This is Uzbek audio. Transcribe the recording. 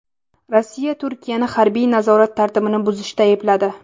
Rossiya Turkiyani harbiy nazorat tartibini buzishda aybladi.